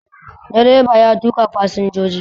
Direba ya tuƙa fasinjoji